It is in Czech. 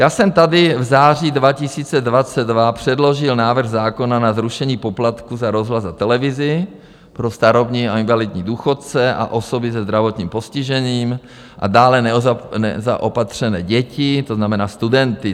Já jsem tady v září 2022 předložil návrh zákona na zrušení poplatků za rozhlas a televizi pro starobní a invalidní důchodce a osoby se zdravotním postižením a dále nezaopatřené děti, to znamená studenty.